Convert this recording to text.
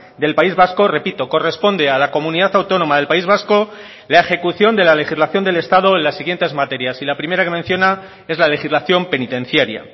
del país vasco repito corresponde a la comunidad autónoma del país vasco la ejecución de la legislación del estado en las siguientes materias y la primera que menciona es la legislación penitenciaria